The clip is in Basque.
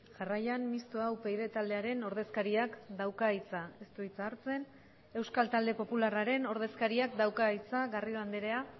jarraian mixtoa upyd taldearen ordezkariak dauka hitza ez du hitza hartzen euskal talde popularraren ordezkariak dauka hitza garrido andrea